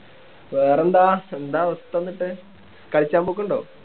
വേറെന്താ എന്താ അവസ്ഥ എന്നിട്ട് കളിച്ചാൻ പോക്കുണ്ടോ